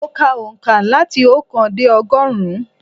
Mo ka òǹkà láti oókan dé ọgọ́rùn-ún.